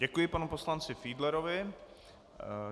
Děkuji panu poslanci Fiedlerovi.